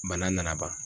Bana nana ban